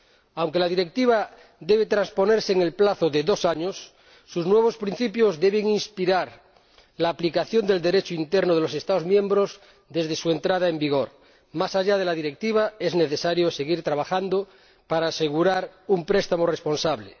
Aunque la Directiva debe transponerse en el plazo de dos años, sus nuevos principios deben inspirar la aplicación del Derecho interno de los Estados miembros desde su entrada en vigor. Más allá de la Directiva es necesario seguir trabajando para asegurar un préstamo responsable.